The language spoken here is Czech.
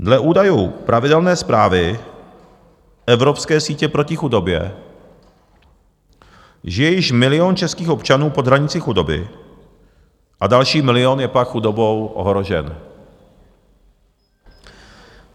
Dle údajů pravidelné zprávy Evropské sítě proti chudobě žije již milion českých občanů pod hranicí chudoby a další milion je pak chudobou ohrožen.